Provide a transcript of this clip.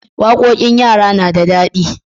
Waƙoƙin yara na da daɗi.